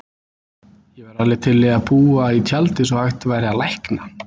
Ég væri alveg til í að búa í tjaldi svo hægt væri að lækna